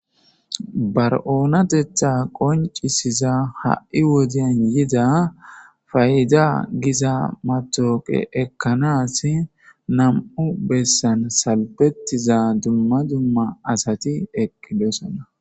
bar7oonatetha qoncisiza ha7i wodiyan yida fay7ida giza matooqe ekkanas nam7u bessan salbetiza dumma dumma asati eqqidossana